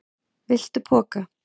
Viltu poka?